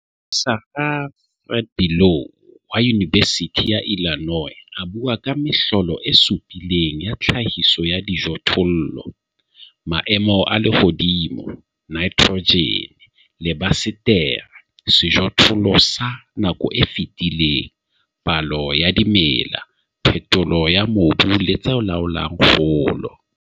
Moprofesara Fred Below wa Yunibesithi ya Illinois a bua ka 'Mehlolo e supileng ya tlhahiso ya dijothollo' - maemo a lehodimo, nitrogen, lebasetere, sejothollo sa nako e fetileng, palo ya dimela, phetholo ya mobu le tse laolang kgolo.